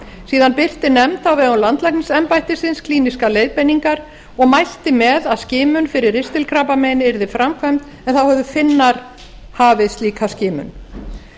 síðan birti nefnd á vegum landlæknisembættisins klínískar leiðbeiningar og mælti með að skimun fyrir ristilkrabbameini yrði framkvæmd en þá höfðu finnar hafið slíka skimun